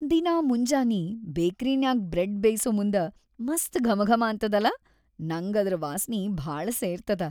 ದಿನಾ ಮುಂಜಾನಿ ಬೇಕ್ರಿನ್ಯಾಗ್‌ ಬ್ರೆಡ್‌ ಬೇಯ್ಸಮುಂದ ಮಸ್ತ್‌ ಘಮಘಮಾ ಅಂತದಲಾ ನಂಗ್ ಅದ್ರ ವಾಸ್ನಿ ಭಾಳ ಸೇರ್ತದ.